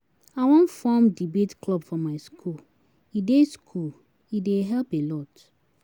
I wan form debate club for my school, e dey school, e dey help a lot.